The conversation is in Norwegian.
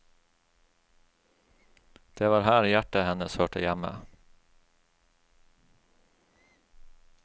Det var her hjertet hennes hørte hjemme.